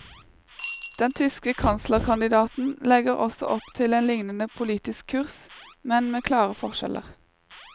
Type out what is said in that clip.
Den tyske kanslerkandidaten legger også opp til en lignende politisk kurs, men med klare forskjeller.